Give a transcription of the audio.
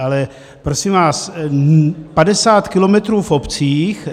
Ale prosím vás, 50 kilometrů v obcích...